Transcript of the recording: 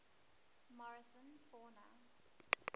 morrison fauna